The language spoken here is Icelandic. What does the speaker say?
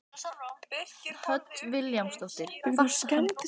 Hödd Vilhjálmsdóttir: Kvarta hann ekkert yfir því?